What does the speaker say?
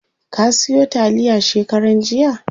Ka siyo taliya shekaran jiya?